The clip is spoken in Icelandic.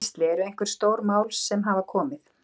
Gísli: Eru einhver stór mál sem hafa komið?